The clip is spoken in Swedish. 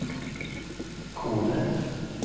Kode